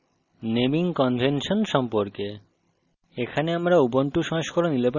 Java অনুসরণ করে naming convention সম্পর্কে